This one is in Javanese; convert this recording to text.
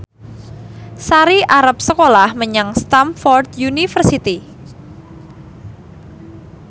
Sari arep sekolah menyang Stamford University